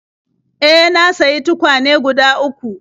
E, na sayi tukwane guda uku..